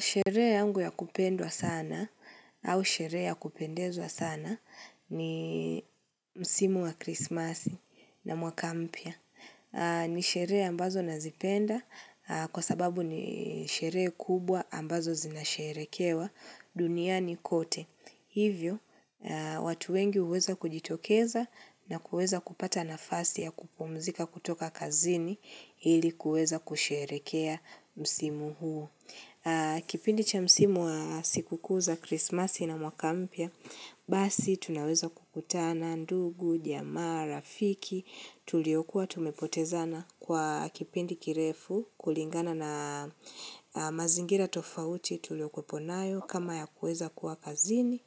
Sherehe yangu ya kupendwa sana au sherehe ya kupendeza sana ni msimu wa Christmasi na mwaka mpya. Ni sherehe ambazo nazipenda kwa sababu ni sherehe kubwa ambazo zinasherehekewa duniani kote. Hivyo, watu wengi huweza kujitokeza na kuweza kupata nafasi ya kupumzika kutoka kazini ili kuweza kusherehekea msimu huo. Kipindi cha msimu wa sikukuu za krismasi na mwaka mpya, basi tunaweza kukutana ndugu, jamaa, rafiki, tulio kuwa tumepotezana kwa kipindi kirefu kulingana na mazingira tofauti tulio kueponayo kama ya kueza kuwa kazini,